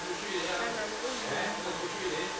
nhlangano eyilunga layo